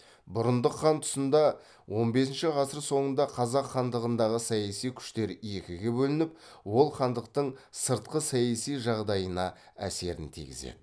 бұрындық хан тұсында он бесінші ғасыр соңында қазақ хандығындағы саяси күштер екіге бөлініп ол хандықтың сыртқы саяси жағдайына әсерін тигізеді